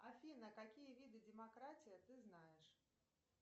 афина какие виды демократии ты знаешь